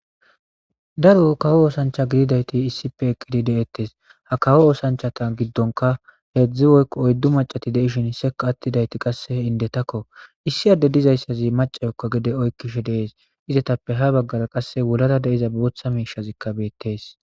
daro kawo oosancha gididayti issipe eqqidi de7ettes ha kawo oosanchata giddonka heedzdzi woykko oyddu macati deishin seka attidayti qasse indetakko issi adde dizayssazi macayokka gede oykkishe deees izetappe ha baggara qasse wolara deiza booththa miishazikka beettees